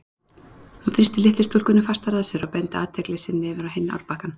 Hún þrýsti litlu stúlkunni fastar að sér og beindi athygli sinni yfir á hinn árbakkann.